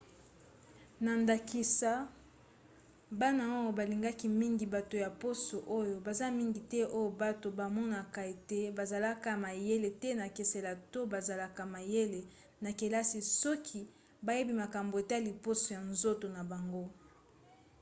na ndakisa bana oyo balingaki mingi bato ya poso oyo baza mingi te oyo bato bamonaka ete bazalaka mayele te na kelase to bazalaka mayele na kelasi soki bayebi makambo etali poso ya nzoto na bango